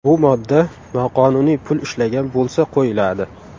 Bu modda noqonuniy pul ishlagan bo‘lsa qo‘yiladi.